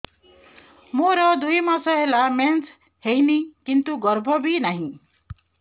ମୋର ଦୁଇ ମାସ ହେଲା ମେନ୍ସ ହେଇନି କିନ୍ତୁ ଗର୍ଭ ବି ନାହିଁ